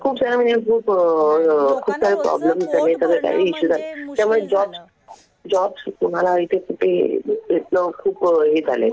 खूप सारं म्हणजे खूप प्रॉब्लेम्स झाले. खूप काही इश्यू झाले. त्यामुळे जॉब तुम्हाला इथे कुठे भेटणं खूप हे झालंय.